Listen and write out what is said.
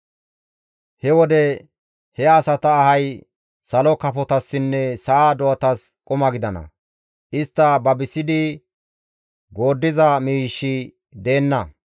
He wode he asata ahay salo kafotassinne sa7a do7atas quma gidana; istta babisidi gooddiza miishshi deenna.